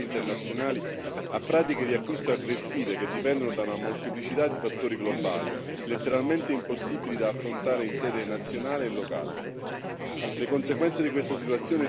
I produttori sono costantemente esposti sui mercati internazionali a pratiche di acquisto aggressive che dipendono da una molteplicità di fattori globali, letteralmente impossibili da affrontare in sede nazionale e locale.